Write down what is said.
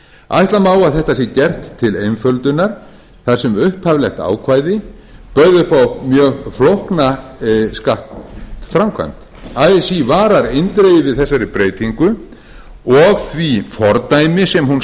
ætla má að þetta sé gert til einföldunar þar sem upphaflegt ákvæði bauð upp á mjög flókna skattframkvæmd así varar eindregið við þessari breytingu og því fordæmi sem hún